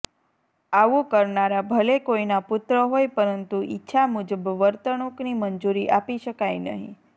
આવું કરનારા ભલે કોઇના પુત્ર હોય પરંતુ ઇચ્છા મુજબ વર્તણૂંકની મંજૂરી આપી શકાય નહીં